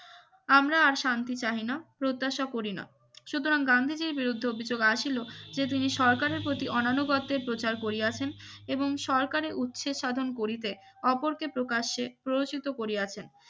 আমরা আর শান্তি চাহি না প্রত্যাশা করিনা সুতরাং গান্ধীজীর বিরুদ্ধে অভিযোগ আসিল যে তিনি সরকারের প্রতি অনানু গর্তের প্রচার করিয়াছেন এবং সরকারি উৎসে সাধন করিতে অপরকে প্রকাশ্যে প্ররোচিত করিয়াছেন